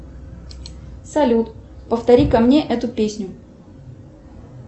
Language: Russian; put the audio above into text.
салют повтори ка мне эту песню